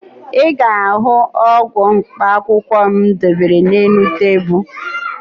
Ị ga-ahụ ọgwụ mkpaakwụkwọ m debere n'elu tebulu